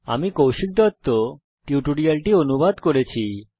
আমি কৌশিক দত্ত এই টিউটোরিয়ালটি অনুবাদ করেছি